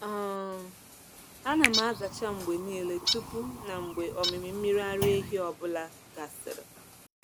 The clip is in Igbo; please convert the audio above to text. um Ana m azacha mgbe niile tupu na mgbe ọmịmị mmiri ara ehi ọ bụla gasịrị.